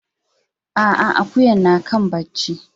A'a, akuyan na kan barci.